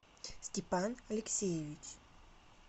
степан алексеевич